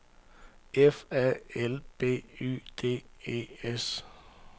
F A L B Y D E S